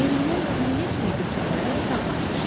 Yerindən güllə kimi götürülərək otağına qaçdı.